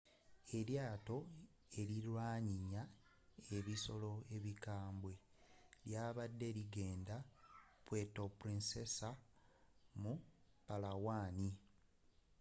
elyaato erilwanyinya ebisoro ebikambwe lyabadde ligenda puerto princesa mu palawan